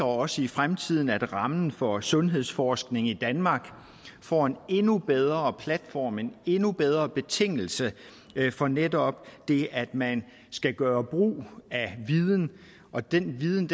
også i fremtiden at rammen for sundhedsforskning i danmark får en endnu bedre platform en endnu bedre betingelse for netop det at man skal gøre brug af viden og den viden